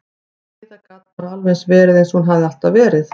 Heiða gat bara alveg verið eins og hún hafði alltaf verið.